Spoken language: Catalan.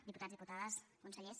diputats diputades consellers